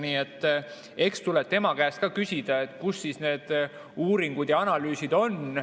Nii et eks tuleb tema käest ka küsida, kus need uuringud ja analüüsid on.